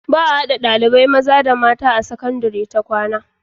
baa hada ɗalibai mata da maza a sakandari ta kwAna